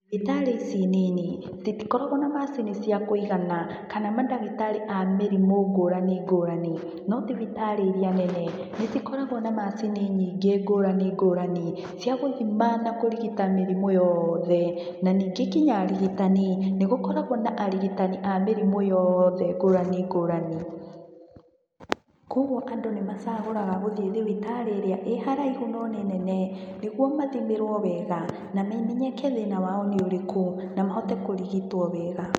Thibitarĩ ici nini, citikoragwo na macini cia kũigana, kana mandagĩtarĩ a mĩrimũ ngũrani ngũrani. No thibitarĩ iria nene, nĩ cikoragwo na macini nyingĩ ngũrani ngũrani, cia gũthima na kũrigita mĩrimũ yothe. Na ningĩ nginya arigitani, nĩ gũkoragwo na arigitani a mĩrimũ yothe ngũrani ngũrani. Kũoguo andũ nĩ macagũraga gũthiĩ thibitarĩ ĩrĩa ĩ haraihu no nĩ nene, nĩguo mathimĩrwo wega, na mamenyeke thĩna wao nĩ ũrĩkũ, na mahote kũrigitwo wega.